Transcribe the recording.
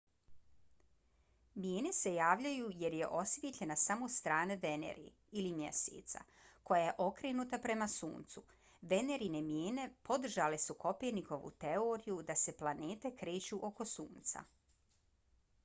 mijene se javljaju jer je osvijetljena samo strana venere ili mjeseca koja je okrenuta prema suncu. venerine mijene podržale su kopernikovu teoriju da se planete kreću oko sunca